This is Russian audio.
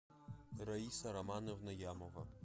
раиса романовна ямова